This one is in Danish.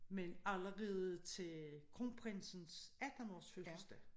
Men allerede til kronprinses attenårsfødselsdag